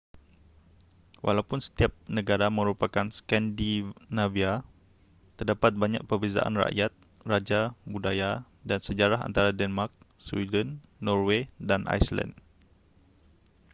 walaupun setiap negara merupakan scandinavia' terdapat banyak perbezaan rakyat raja budaya dan sejarah antara denmark sweden norway dan iceland